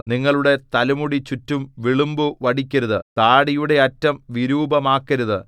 നിങ്ങളുടെ തലമുടി ചുറ്റും വിളുമ്പു വടിക്കരുത് താടിയുടെ അറ്റം വിരൂപമാക്കരുത്